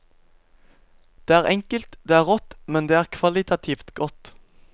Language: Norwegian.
Det er enkelt, det er rått, men det er kvalitativt godt.